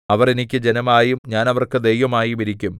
അവർ എനിക്ക് ജനമായും ഞാൻ അവർക്ക് ദൈവമായും ഇരിക്കും